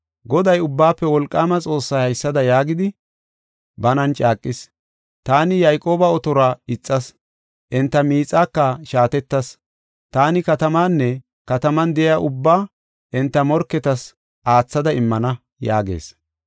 Goday, Ubbaafe Wolqaama Xoossay haysada yaagidi, banan caaqis: “Taani Yayqooba otoruwa ixas; enta miixaaka shaatettas; taani katamaanne kataman de7iya ubbaa enta morketas aathada immana” yaagees.